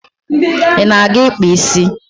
Ị na-aga ịkpa isi?